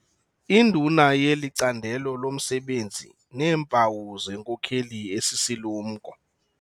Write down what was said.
Induna yeli candelo lomsebenzi neempawu zenkokeli esisilumko.